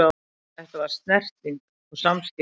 Þetta var snerting og samskipti.